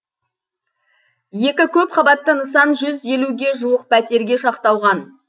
екі көпқабатты нысан жүз елуге жуық пәтерге шақталған